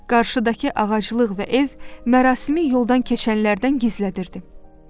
Qarşıdakı ağaclıq və ev mərasimi yoldan keçənlərdən gizlədirdi.